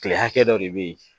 Kile hakɛ dɔ de bɛ yen